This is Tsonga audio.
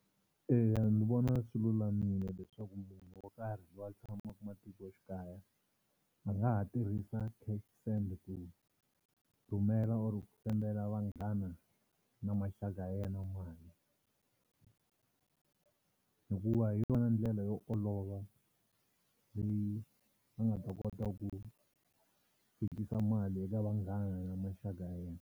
Eya ndzi vona swi lulamile leswaku munhu wo karhi lowu a tshamaka matikoxikaya a nga ha tirhisa cash send ku rhumela or ku sendela vanghana na maxaka ya yena mali. Hikuva hi yona ndlela yo olova leyi a nga ta kota ku fikisa mali eka vanghana na maxaka ya yena.